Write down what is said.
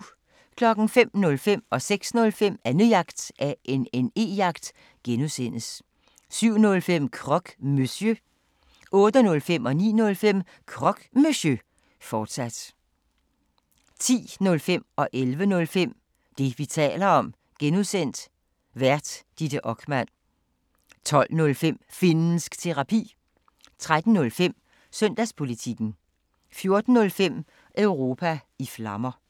05:05: Annejagt (G) 06:05: Annejagt (G) 07:05: Croque Monsieur 08:05: Croque Monsieur, fortsat 09:05: Croque Monsieur, fortsat 10:05: Det, vi taler om (G) Vært: Ditte Okman 11:05: Det, vi taler om (G) Vært: Ditte Okman 12:05: Finnsk Terapi 13:05: Søndagspolitikken 14:05: Europa i Flammer